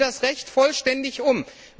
Setzen Sie das Recht vollständig um!